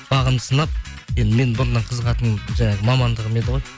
бағымды сынап енді менің бұрыннан қызығатын жаңағы мамандығым еді ғой